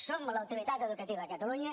som l’autoritat educativa a catalunya